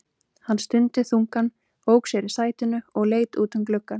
Hann stundi þungan, ók sér í sætinu og leit út um gluggann.